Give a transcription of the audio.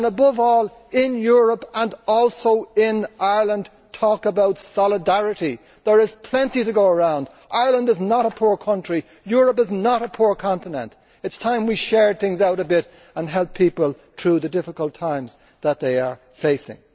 And above all, in Europe and also in Ireland, talk about solidarity. There is plenty to go around. Ireland is not a poor country. Europe is not a poor continent. It is time we shared things out a bit and helped people through the difficult times that they are facing.